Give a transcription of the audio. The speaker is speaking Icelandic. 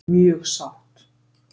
Mjög sátt